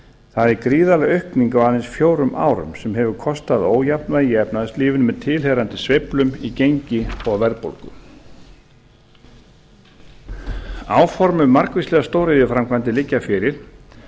það er gríðarleg aukning á aðeins fjórum árum sem hefur kostað ójafnvægi í efnahagslífinu með tilheyrandi sveiflum í gengi og verðbólgu áform um margvíslegar stóriðjuframkvæmdir liggja fyrir